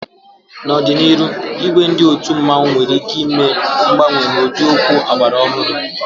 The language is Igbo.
N'ọdịnihu, ìgwè ndị otu mmanwu nwere ike ime mgbanwe n'ụdị okwu ọgbara ọhụrụ.